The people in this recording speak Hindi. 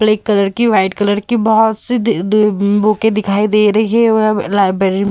ब्लैक कलर की वाइट कलर की बहुत सी दी दु बूके दिखाई दे रही हैं लाइब्रेरी --